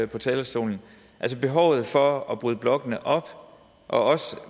på talerstolen altså behovet for at bryde blokkene op og